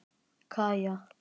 Kaja